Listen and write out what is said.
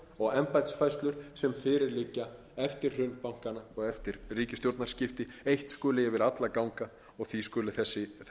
og embættisfærslur sem fyrir liggja eftir hrun bankanna og eftir ríkisstjórnarskipti eitt skuli yfir alla ganga því skuli þessi